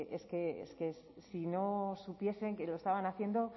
es que si no supiesen que lo estaban haciendo